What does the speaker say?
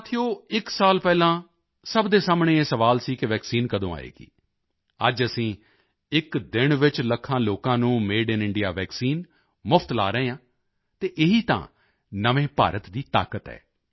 ਸਾਥੀਓ ਇਕ ਸਾਲ ਪਹਿਲਾਂ ਸਭ ਦੇ ਸਾਹਮਣੇ ਇਹ ਸਵਾਲ ਸੀ ਕਿ ਵੈਕਸੀਨ ਕਦੋਂ ਆਏਗੀ ਅੱਜ ਅਸੀਂ ਇਕ ਦਿਨ ਵਿੱਚ ਲੱਖਾਂ ਲੋਕਾਂ ਨੂੰ ਮਾਡੇ ਆਈਐਨ ਇੰਡੀਆ ਵੈਕਸੀਨ ਮੁਫ਼ਤ ਲਗਾ ਰਹੇ ਹਾਂ ਅਤੇ ਇਹੀ ਤਾਂ ਨਵੇਂ ਭਾਰਤ ਦੀ ਤਾਕਤ ਹੈ